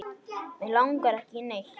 Mig langar ekki í neitt.